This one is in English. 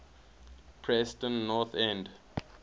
preston north end